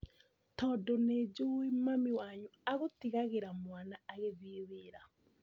Tondũ nĩjũĩ mami wanyu agũtigagĩra mwana agĩthiĩ wĩra